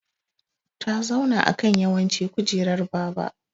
Ta zauna ã kan yawanci kujerar baba.